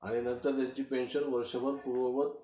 आणि नंतर त्यांची पेन्शन वर्षभर पूर्ववत